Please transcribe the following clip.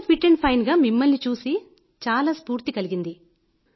ఇంత fit and fine గా మిమ్మల్ని చూసి చాలా స్ఫూర్తి కలిగింది